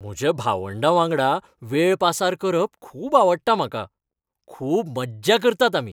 म्हज्या भावंडां वांगडा वेळ पासार करप खूब आवडटा म्हाका. खूब मज्जा करतात आमी.